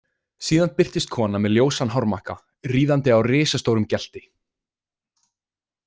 Síðan birtist kona með ljósan hármakka ríðandi á risastórum gelti.